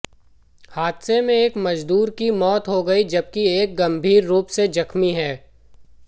हादसे में एक मजदूर की मौत हो गई जबकि एक गंभीर रूप से जख्मी है